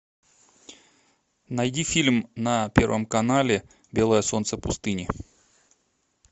найди фильм на первом канале белое солнце пустыни